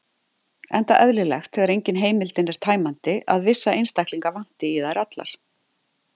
Enda eðlilegt, þegar engin heimildin er tæmandi, að vissa einstaklinga vanti í þær allar.